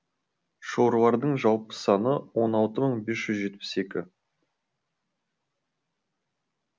шорлардың жалпы саны он алты мың бес жүз жетпіс екі